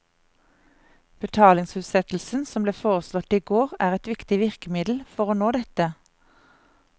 Betalingsutsettelsen som ble foreslått i går, er et viktig virkemiddel for å nå dette.